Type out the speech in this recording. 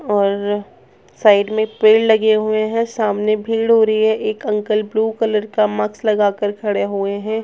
और साईड में पेड़ लगे हुए हैं सामने भीड़ हो रही है एक अंकल ब्लू कलर का माक्स लगाकर खड़े हुए हैं।